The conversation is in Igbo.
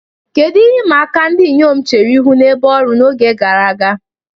Kedu ihe ịma aka ndị inyom chere ihu n'ebe ọrụ n'oge gara aga?